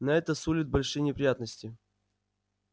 но это сулит большие неприятности